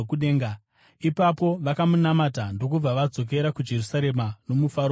Ipapo vakamunamata ndokubva vadzokera kuJerusarema nomufaro mukuru.